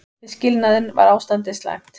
Við skilnaðinn var ástandið slæmt.